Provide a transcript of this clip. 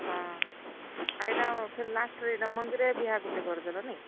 ହଁ, ଆର୍ ଇଟା ଫେର୍ ଇଟା last ରେ ଇଟା ମନ୍ଦିରେ ବିହା ଗୁଟେ କରିଦେଲ ନାଇଁ।